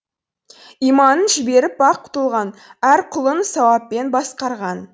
иманын жіберіп бақ толған әр құлын сауаппен басқарған